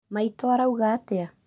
Maitũ arauga atĩa